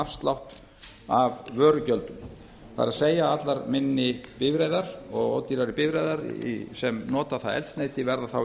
afslátt af vörugjöldum það er allar minni bifreiðar og ódýrari bifreiðar sem nota það eldsneyti verða þá í